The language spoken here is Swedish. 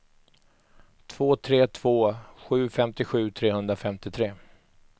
två tre två sju femtiosju trehundrafemtiotre